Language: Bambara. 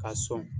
K'a sɔn